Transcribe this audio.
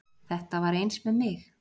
Þetta var eins með mig